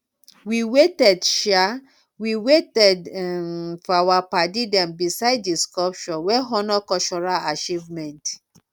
we waited um we waited um for our padi them beside di sculpture wey honor cultural achievement